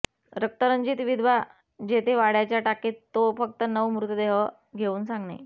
रक्तरंजित विधवा जेथे वाड्याच्या टाकीत तो फक्त नऊ मृतदेह घेऊन सांगणे